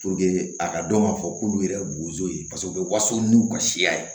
a ka dɔn k'a fɔ k'ulu yɛrɛ bozo ye paseke u bɛ waso n'u ka siya ye